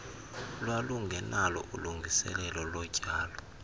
lwalungenalo ilungiselelo lotyalo